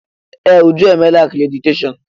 Ee! Uju emeela akréditeshọọn.